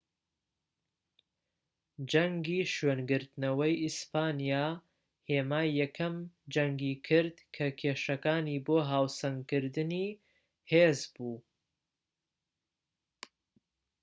جەنگی شوێنگرتنەوەی ئیسپانیا هێمای یەکەم جەنگی کرد کە کێشەکانی بۆ هاوسەنگکردنی هێز بوو